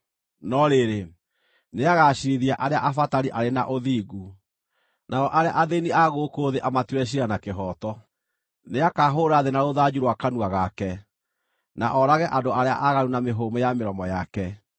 no rĩrĩ, nĩagaciirithia arĩa abatari arĩ na ũthingu, nao arĩa athĩĩni a gũkũ thĩ amatuĩre ciira na kĩhooto. Nĩakahũũra thĩ na rũthanju rwa kanua gake, na oorage andũ arĩa aaganu na mĩhũmũ ya mĩromo yake.